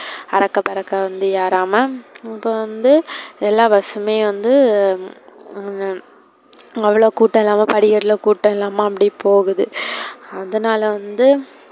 அரக்க பறக்க வந்து ஏறாமா இப்ப வந்து எல்லா bus மே வந்து அவளோ கூட்டம் இல்லாம படிக்கட்டுல கூட்டம் இல்லாம அப்பிடியே போகுது. அதனால வந்து,